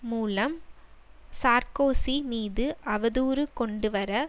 மூலம் சார்க்கோசி மீது அவதூறு கொண்டுவர